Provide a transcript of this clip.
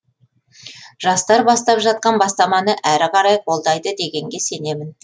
жастар бастап жатқан бастаманы әрі қарай қолдайды дегенге сенемін